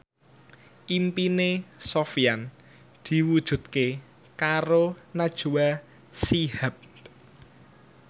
impine Sofyan diwujudke karo Najwa Shihab